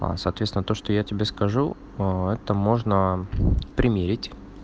аа соответственно то что я тебе скажу ээ это можно примерить